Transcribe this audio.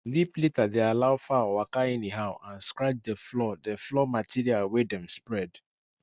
deep litter dey allow fowl waka anyhow and scratch the floor the floor material wey dem spread